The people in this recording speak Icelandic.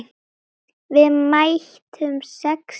Við mættum sex sinnum.